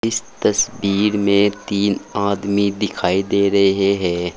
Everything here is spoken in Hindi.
इस तस्वीर में तीन आदमी दिखाई दे रहे हैं।